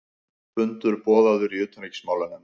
Fundur boðaður í utanríkismálanefnd